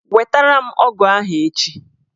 Wetara m ọgụ ahụ echi!